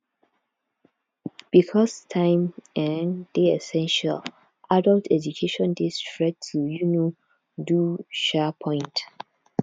because time um dey essential adult education dey straight to um do um point